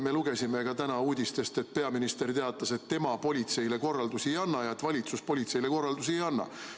Me lugesime täna uudistest, et peaminister teatas, et tema politseile korraldusi ei anna, et valitsus politseile korraldusi ei anna.